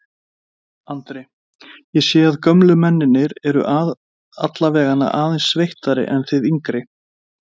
Andri: Ég sé að gömlu mennirnir eru allavegana aðeins sveittari en þið yngri?